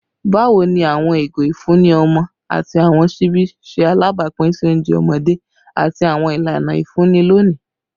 Bawo ni awọn igo ifunni ọmọ ati awọn ṣibi ṣe alabapin si ounjẹ ọmọde ati awọn ilana ifunni loni?